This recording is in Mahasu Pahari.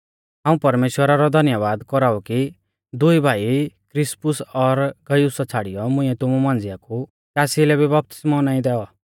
हाऊं परमेश्‍वरा रौ धन्यबाद कौराऊ कि दुई भाई क्रिस्पुस और गयुसा छ़ाड़ियौ मुंइऐ तुमु मांझिया कु कासी लै भी बपतिस्मौ नाईं दैऔ